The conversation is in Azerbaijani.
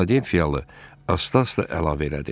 Filadelfiyalı asta-asta əlavə elədi.